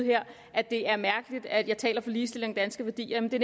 at det er mærkeligt at jeg taler for ligestilling og danske værdier men det